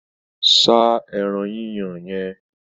Sá ẹran yíyan yẹn!